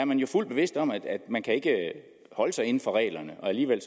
man jo fuldt bevidst om at man ikke kan holde sig inden for reglerne og alligevel